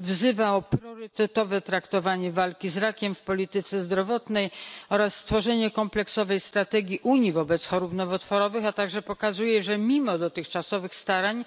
wzywa do priorytetowego traktowania walki z rakiem w polityce zdrowotnej oraz stworzenia kompleksowej strategii Unii wobec chorób nowotworowych, a także pokazuje, że mimo dotychczasowych starań